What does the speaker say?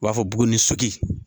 U b'a fɔ buguni sotigi